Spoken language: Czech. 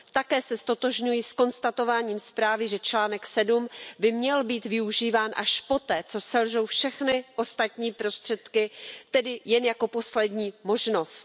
Také se ztotožňuji s konstatováním zprávy, že článek 7 by měl být využíván až poté, co selžou všechny ostatní prostředky, tedy jen jako poslední možnost.